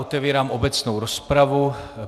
Otevírám obecnou rozpravu.